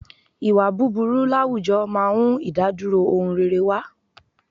Ìwà búburú láwùjọ máa ń ìdádúró ohun rere wá.